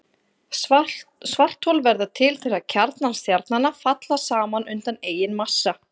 Svarthol verða til þegar kjarnar stjarnanna falla saman undan eigin massa.